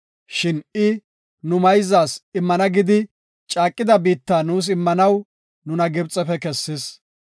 Shin I nu mayzas immana gidi caaqida biitta nuus immanaw nuna Gibxefe kessis.